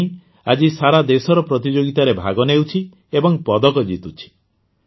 ଅନ୍ୱୀ ଆଜି ଦେଶସାରାର ପ୍ରତିଯୋଗିତାରେ ଭାଗ ନେଉଛି ଏବଂ ପଦକ ଜିତୁଛି